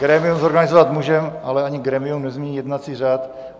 Grémium zorganizovat můžeme, ale ani grémium nezmění jednací řád.